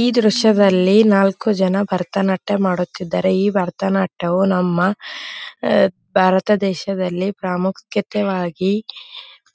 ಈ ದ್ರಶ್ಯದಲ್ಲಿ ನಾಲ್ಕು ಜನ ಭರತನಾಟ್ಯ ಮಾಡುತ್ತಿದ್ದಾರೆ ಈ ಭರತನಾಟ್ಯವು ನಮ್ಮ ಭಾರತ ದೇಶದಲ್ಲಿ ಪ್ರಾಮುಖ್ಯತೆವಾಗಿ